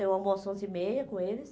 Eu almoço onze e meia com eles.